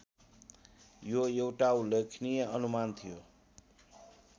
यो एउटा उल्लेखनीय अनुमान थियो